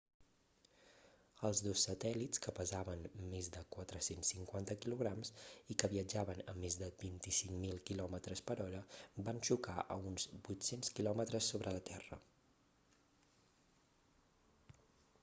els dos satèl·lits que pesaven més de 450 kg i que viatjaven a més de 25.000 km per hora van xocar a uns 800 km sobre la terra